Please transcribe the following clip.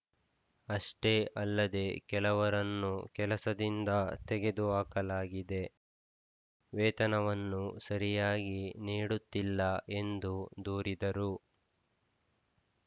ಅಷ್ಟೇ ಅಲ್ಲದೇ ಕೆಲವರನ್ನು ಕೆಲಸದಿಂದ ತೆಗೆದುಹಾಕಲಾಗಿದೆ ವೇತನವನ್ನು ಸರಿಯಾಗಿ ನೀಡುತ್ತಿಲ್ಲ ಎಂದು ದೂರಿದರು